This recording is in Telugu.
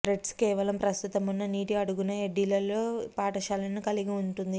రెడ్స్ కేవలం ప్రస్తుతమున్న నీటి అడుగున ఎడ్డీలలో పాఠశాలను కలిగి ఉంటుంది